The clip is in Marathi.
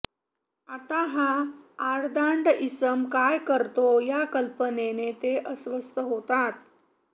आता हा आडदांड इसम काय करतो या कल्पनेने ते अस्वस्थ होतात